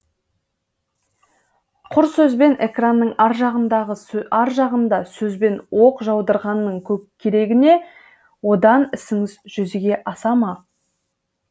құр сөзбен экранның ар жағында сөзбен оқ жаудырғанның керегіне одан ісіңіз жүзеге асама